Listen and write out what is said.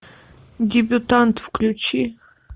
дебютант включи